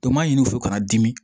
Dɔ m'a ɲini u fɛ ka na dimi